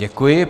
Děkuji.